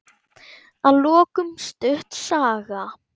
Að lokum stutt saga.